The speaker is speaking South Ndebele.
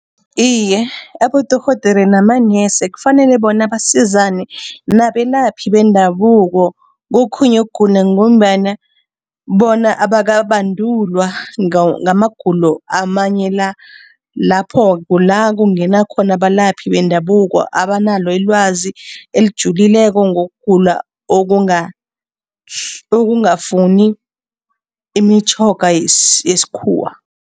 Iye, abodorhodere namanesi kufanele bona basizane nabelaphi bendabuko kokhunye ukugula ngombana bona abakabandulwa ngamagulo amanye la. Lapho, kula kungena khona abalaphi bendabuko abanalo ilwazi elijulileko ngokugula okungafuni imitjhoga yesikhuwa.